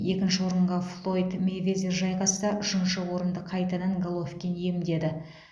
екінші орынға флойд мэйвезер жайғасса үшінші орынды қайтадан головкин иемдеді